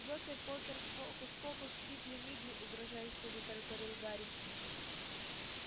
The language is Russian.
джокер-покер фокус-покус фигли-мигли угрожающе затараторил гарри